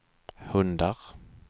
hundar